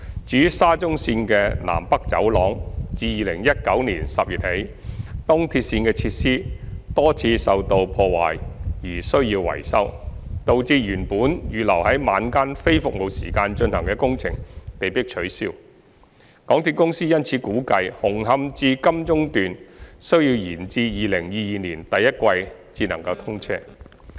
至於沙田至中環綫的"南北走廊"，自2019年10月起，東鐵綫的設施多次受到破壞而需要維修，導致原本預留在晚間非服務時間進行的工程被迫取消，港鐵公司因此估計"紅磡至金鐘段"需延至2022年第一季才能通車。